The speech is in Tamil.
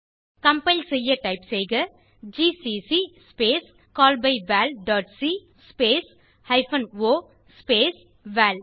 கம்பைல் செய்ய டைப் செய்க ஜிசிசி ஸ்பேஸ் callbyvalசி ஸ்பேஸ் ஹைபன் ஒ ஸ்பேஸ் வல்